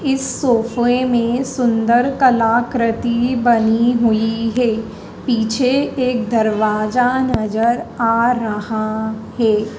इस सोफे में सुंदर कलाकृति बनी हुई है पीछे एक दरवाजा नजर आ रहा है।